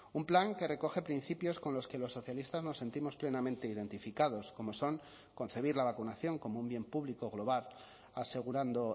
un plan que recoge principios con los que los socialistas nos sentimos plenamente identificados como son concebir la vacunación como un bien público global asegurando